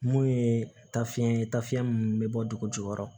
Mun ye tafiɲɛ ye tafiyɛn munnu be bɔ dugujukɔrɔ